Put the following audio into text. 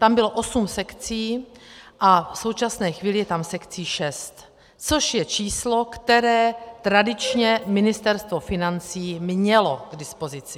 Tam bylo osm sekcí a v současné chvíli je tam sekcí šest, což je číslo, které tradičně Ministerstvo financí mělo k dispozici.